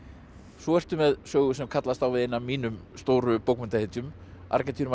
svo ertu með sögu sem kallast á við eina af mínum stóru